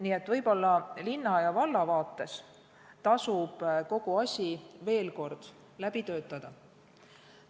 Nii et võib-olla linna ja valla vaates tasub kogu asi veel kord läbi töötada.